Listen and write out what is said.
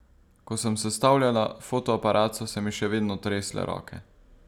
Ko sem sestavljala fotoaparat, so se mi še vedno tresle roke.